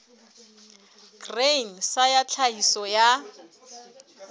grain sa ya tlhahiso ya